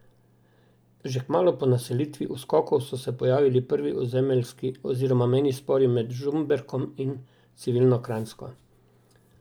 Že kmalu po naselitvi Uskokov so se pojavili prvi ozemeljski oziroma mejni spori med Žumberkom in civilno Kranjsko.